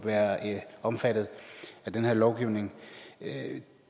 være omfattet af den her lovgivning